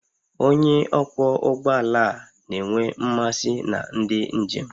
Onye ọkwọ ụgbọ ala a na-enwe mmasị na ndị njem